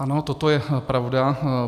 Ano, toto je pravda.